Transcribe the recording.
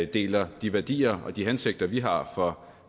deler de værdier og de hensigter vi har for